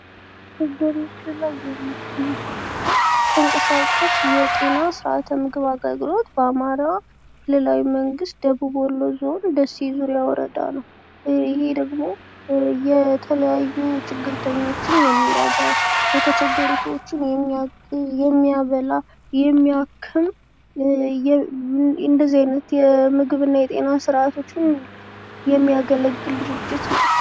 ይህ በምስሉ ላይ የሚታየዉ ተንቀሳቃሽ የጤና ስርአተ ምግብ አገልግሎት በአማራ ክልላዊ መንግስት ደቡብ ወሎ ዞን ደሴ ዙሪያ ወረዳ ነው ፤ ይሄ ደሞ የተለያዩ ችግርተኞችን የሚረዳ፣ የተቸገሩ ሰዎችን የሚያበላ፣ የሚያክም እንደዚህ አይነት የምግብ እና የጤና ስርአቶችን የሚያገለግል ድርጅት ነው።